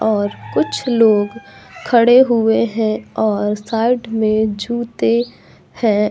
और कुछ लोग खड़े हुए है और साइड में जूते हैं।